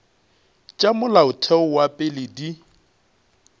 tša molaotheo wa pele di